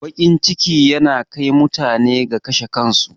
Baƙin ciki yana kai mutane ga kashe kansu